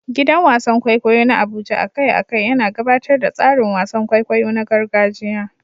Gidan wasan kwaikwayo na Abuja a kai a kai yana gabatar da tsarin wasan kwaikwayo na gargajiya.